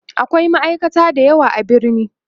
akwai ma'aikata da yawa a birni